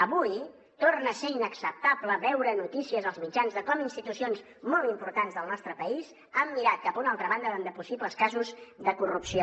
avui torna a ser inacceptable veure notícies als mitjans de com institucions molt importants del nostre país han mirat cap a una altra banda davant de possibles casos de corrupció